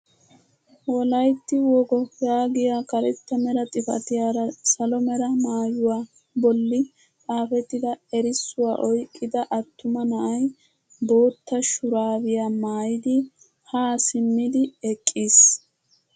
Wolaytti wogo yaagiyaa karetta mera xifatiyaara salo mera maayuwaa bolli xaafettida erissuwaa oyqqida attuma na'ay bootta shuraabiyaa maayidi ha simmidi eqqiis.